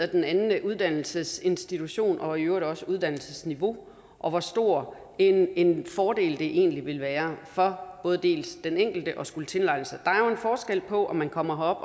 den anden uddannelsesinstitution og i øvrigt også uddannelsesniveau og på hvor stor en en fordel det egentlig vil være for den enkelte at skulle tilegne sig dansk er jo forskel på om man kommer